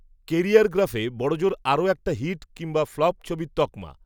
কেরিয়ারগ্রাফে বড়জোর আরও একটা হিট, কিংবা ফ্লপ ছবির তকমা